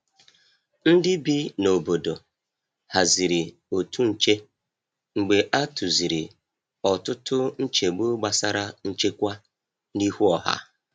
Ndị bi n’obodo haziri otu nche mgbe a tụziri ọtụtụ nchegbu gbasara nchekwa n’ihu ọha.